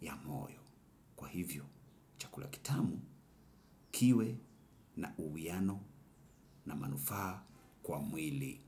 ya moyo. Kwa hivyo, chakula kitamu kiwe na uwiano na manufaa kwa mwili.